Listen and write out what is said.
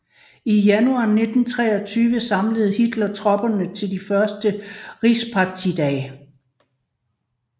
I januar 1923 samlede Hitler tropperne til de første Rigspartidage